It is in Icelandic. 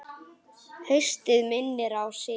Haustið minnir á sig.